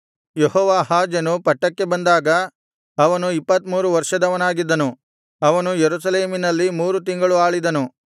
ಯೆಹೋವಾಹಾಜನು ಪಟ್ಟಕ್ಕೆ ಬಂದಾಗ ಅವನು ಇಪ್ಪತ್ತಮೂರು ವರ್ಷದವನಾಗಿದ್ದನು ಅವನು ಯೆರೂಸಲೇಮಿನಲ್ಲಿ ಮೂರು ತಿಂಗಳು ಆಳಿದನು